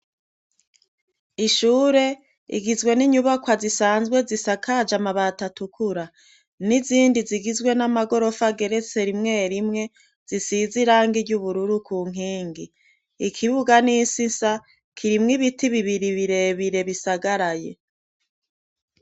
Ishure igizwe n'inyubakwa zisanzwe zisakaje amabati atukura n' izindi zigizwe n'amagorofa ageretse rimwe rimwe, zisize irangi ry'ubururu ku nkingi. Ikibuga n'isi nsa, kirimwo ibiti birebire bisagaraye.